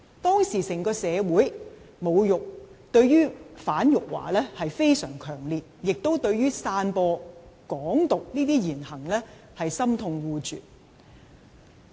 當時，整個社會對"反辱華"非常強烈，亦對於散播"港獨"言行心痛惡絕。